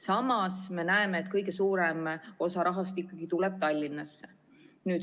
Samas me näeme, et kõige suurem osa rahast tuleb ikkagi Tallinnasse.